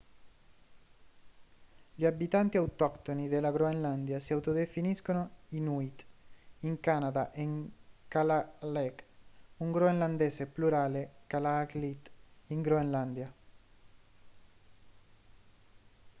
gli abitanti autoctoni della groenlandia si autodefiniscono inuit in canada e kalaalleq un groenlandese plurale kalaallit in groenlandia